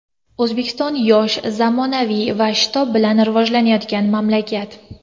O‘zbekiston yosh, zamonaviy va shitob bilan rivojlanayotgan mamlakat.